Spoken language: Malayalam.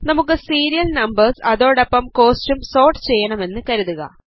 നമുക്ക് സീരിയൽ നംപേർസ് അതോടൊപ്പം കോസ്റ്റും സോർട്ട് ചെയ്യണമെന്ന് കരുതുക